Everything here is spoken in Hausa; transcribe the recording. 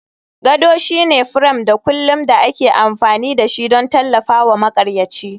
Gado shine firam da kulin da ake amfani da shi don tallafawa maƙaryaci.